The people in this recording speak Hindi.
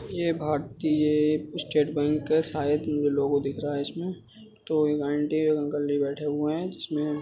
यह भारतीय स्टेट बैंक है शायद लोगो दिख रहा है इसमें तो एक आंटी और अंकल जी बैठे हुए हैं जिसमे --